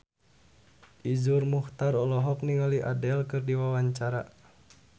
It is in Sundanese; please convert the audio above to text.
Iszur Muchtar olohok ningali Adele keur diwawancara